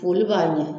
Foli b'a ɲɛ